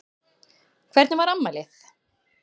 Hvernig var afmælið?